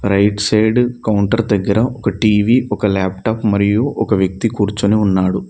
Right side counter దగ్గర ఒక TV ఒక లాప్టాప్ మరియు ఒక వ్యక్తి కూర్చుని ఉన్నాడు.